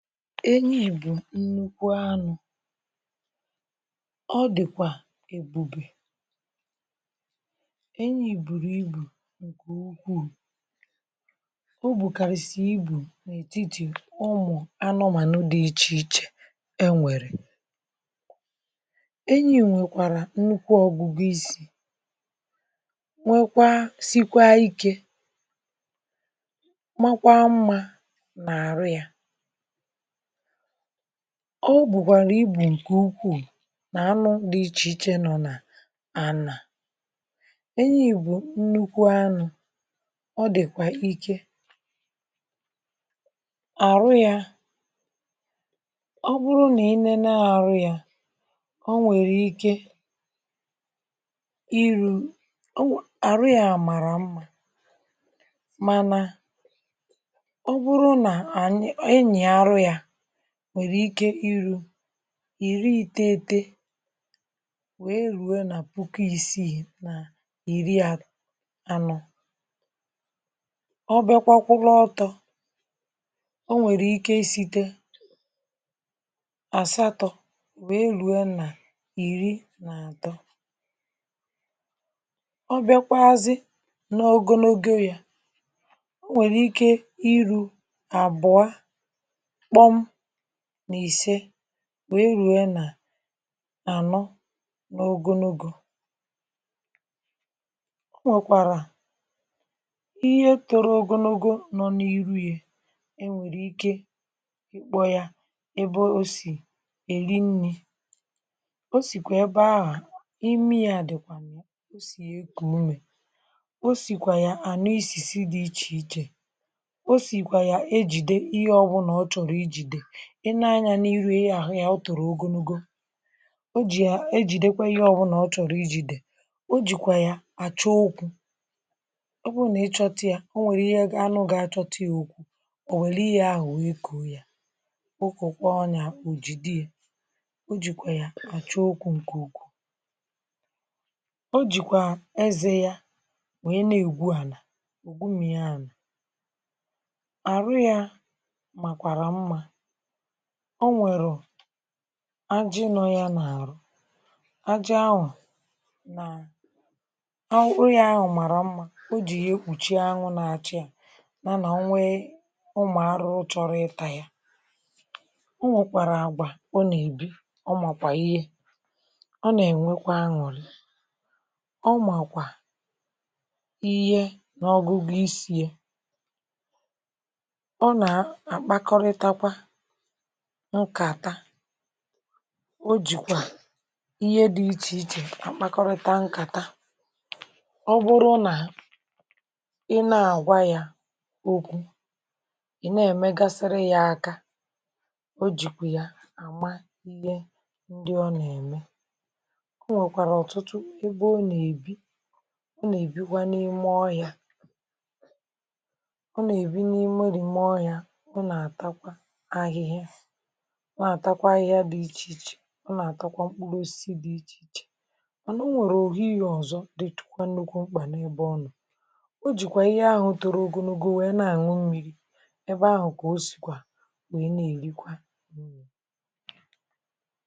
enyi̇ bụ̀ nnukwu anụ̇ ọ dị̀kwà èbube enyi̇ bùrù ibù ǹkè ukwuù o bùkàrị̀ sì ibù n’ètitì ụmụ̀ anụmànụ dị̇ ichè ichè enwèrè, enyi̇ nwèkwàrà nnukwu ọ̀gụgụ isi̇ nwekwa sikwa ikė makwaa mmȧ nà àrụ yȧ ọ bụ̀kwàrà ibù ǹkè ukwuù nà anụ dị ichè ichè nọ nà a nà enyì bụ̀ nnukwu anụ̇ ọ dị̀kwà ike àrụ yȧ ọ bụrụ nà i nėne arụ yȧ ọ nwèrè ike iru̇, arụ yȧ àmàrà mmȧ mana nwèrè ike iru̇ ìri ìtete wèe rue nà puku ìsiì nà ìri à anọ̀ ọ bịakwa kwụrụ ọtọ̇ ọ nwèrè ike site àsatọ̇ wèe ruo nà ìri nà àtọ ọ bịakwa azị n’ogȯ n’oge ya o nwèrè ike iru̇ àbụọ kpom nà ìse nwe eruė nà anọ n’ogonogo, o nwèkwàrà ihe toro ogonogo nọ n’iru yȧ e nwèrè ike ị̀kpọ yȧ ẹbẹ o sì èri nni̇ o sìkwà ẹbẹ ahụ̀ imi yȧ dị̀kwà m̀o o sì e kù umè o sìkwà yà ànọ isìsi dị̇ ichèichè o sìkwà yà ejìde ihe ọbụ̀là ọ chọ̀rọ̀ ị nee anya n’iru ya ahụ ya ọ tụrụ̀ ogonogo o jì ya o jì dekwee ihe ọbụlà ọ chọ̀rọ̀ iji̇ dị̀ o jìkwà ya àchọ okwu̇ ọ bụrụ nà ịchọta ya ọ nwèrè ihe anụ gà-àchọta ya ùkwu ọ̀ wẹ̀lẹ̀ ihe ahụ wẹ̀ ị kụ̀ ya okwu̇ kwaọ ya, o jìde ya o jìkwà ya àchọ okwu̇ ǹkè okwu̇ o jìkwà ezė ya nwèe na-ègwu ànà ùgwù mmi̇anya àrụ ya màkwàrà mma o nwèrù ajị nọọ ya n’àrụ ajị anwụ̇ na anwụ ya ahụ màrà mmȧ o jì yà ekwùchi anwụ̇ na-achị à mànà o nwee ụmụ̀ arụ chọrọ ịtȧ ya o nwèkwàrà àgwà o nà-èbi ọ màkwà ihe ọ nà-ènwekwa aṅụ̀rị ọ màkwà ihe n’ọgụgụ isi̇ė ọ nà-àkpakọrịtakwa nkàta o jìkwà ihe dị̇ ichè ichè àkpakọrịta nkàta ọ bụrụ nà ị na-àgwa yȧ okwu ị̀ na-èmegasịrị yȧ aka o jìkwà yà àma ihe ndị ọ nà-ème o nwèkwàrà ọ̀tụtụ ebe o nà-èbi o nà-èbikwa n’ime ọhiá o nà-èbi n’ime rìme ọhiá nà-àtakwa ihė dị ichè ichè nà-àtakwa mkpụrụ osisi dị ichè ichè ọ̀ nọ̀ nwèrè òfu ihé ọ̀zọ dị tụkwa n’ụkwụ mkpà n’ebe ọnụ̀ o jìkwà ihė ahụ̀ torụ ọgụnụ̇gụ̇ nwèe na-àṅụ mmiri̇ ebe ahụ̀ kà o sìkwà nwèe na-èrikwa.